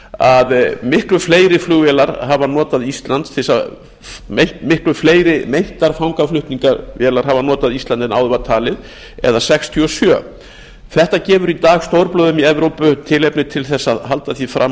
að miklu fleiri fangaflutningavélar hafa notað ísland en áður var talið eða sextíu og sjö þetta gefur í dag stórblöðum í evrópu tilefni til þess að halda því fram að